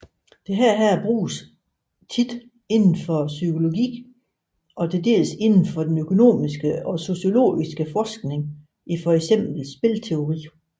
Dette bruges ofte inden for psykologien og til dels inden for den økonomiske og sociologiske forskning i for eksempel spilteori